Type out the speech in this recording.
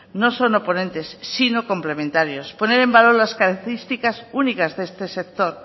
no son oponentes sino complementarios poner en valor las características únicas de este sector